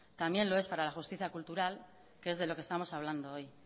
también lo es para la justicia cultural que es de lo que estamos hablando hoy